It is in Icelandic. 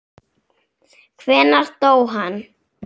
Hvenær dó hann?